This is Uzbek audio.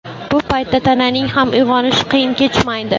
Bu paytda tananing ham uyg‘onishi qiyin kechmaydi.